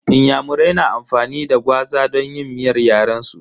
Inyamurai na amfani da gwaza don yin miyar yaren su.